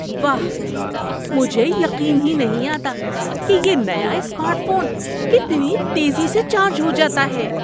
واہ، مجھے یقین ہی نہیں آتا کہ یہ نیا اسمارٹ فون کتنی تیزی سے چارج ہو جاتا ہے!